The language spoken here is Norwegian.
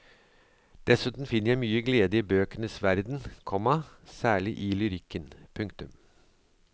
Dessuten finner jeg mye glede i bøkenes verden, komma særlig i lyrikken. punktum